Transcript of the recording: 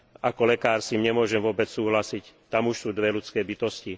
Ako lekár s tým nemôžem vôbec súhlasiť, tam už sú dve ľudské bytosti.